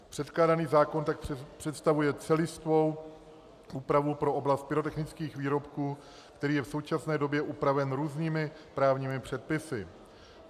Předkládaný zákon tak představuje celistvou úpravu pro oblast pyrotechnických výrobků, který je v současné době upraven různými právními předpisy.